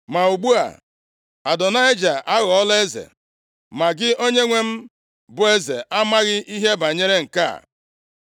Ma ugbu a, Adonaịja aghọọla eze, ma gị onyenwe m bụ eze amaghị ihe banyere nke a.